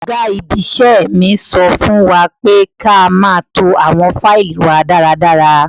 Ọ̀gá ibi-iṣẹ́ mi sọ fún wa pé kí a máa to àwọn faili wa dáradára.